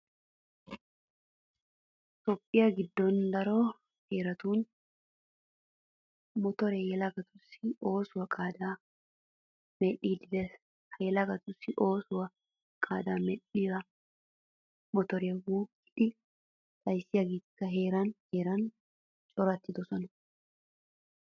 Toophphiya giddon daro heeratun motoree yelagatussi oosuwa qaadaa medhdhiiddi de'ees. Ha yelagatussi oosuwa qaadaa medhdhiya motoreta wuuqqidi xayssiyageetikka heeran heeran corattidosona.